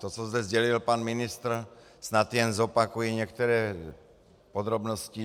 To, co zde sdělil pan ministr, snad jen zopakuji některé podrobnosti.